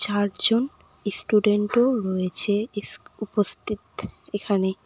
ধার্য ইস্টুডেন্টও রয়েছে ইস উপস্থিত এখানে।